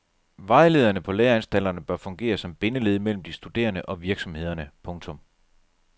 Vejlederne på læreanstalterne bør fungere som bindeled mellem de studerende og virksomhederne. punktum